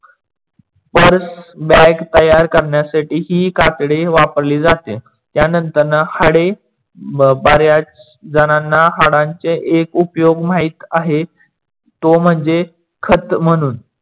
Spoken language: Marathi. bag तयार करण्यासाठी ही कातडी वापरली जाते. त्यानंतर त्यांना हाडे बऱ्याच झणाणा हाडांचे एक उपयोग माहीत आहे. तो म्हणजे खत म्हणून